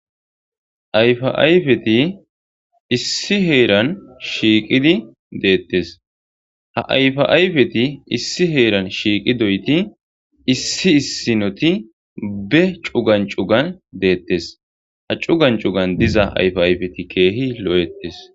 Ayfa ayfeti issi heeran shiiqidi deettes ha ayfa ayfeti issi heeran shiiqi doyti issi issinoti be cugan cugan deettes ha cugan cugan diza ayfa ayfeti keehi lo'ettes